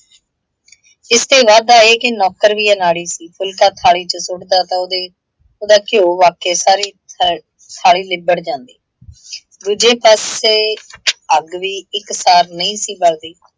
ਇਸ ਤੇ ਵਾਧਾ ਇਹ ਕਿ ਨੌਕਰ ਵੀ ਅਨਾੜੀ ਸੀ, ਫੁਲ਼ਕਾ ਥਾਲੀ ਚ ਸੁੱਟ ਦਾ ਤਾਂ ਉਹਦੇ ਉਹਦਾ ਘਿਓ ਵਰਛੇ ਸਾਰੀ ਥਾਲੀ ਲਿੱਬੜ ਜਾਂਦੀ। ਦੂਜੇ ਪਾਸੇ ਅੱਗ ਵੀ ਇੱਕ ਸਾਰ ਨਹੀਂ ਸੀ ਬੱਲਦੀ,